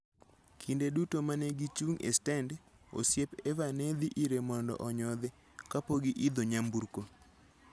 Kinde duto ma ne gichung' e stend, osiep Eva ne dhi ire mondo onyodhe kapok giidho nyamburko.